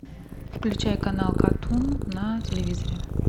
включай канал катунь на телевизоре